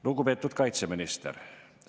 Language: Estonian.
Lugupeetud kaitseminister!